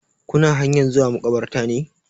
Kuna hanyan zuwa makabartar ne?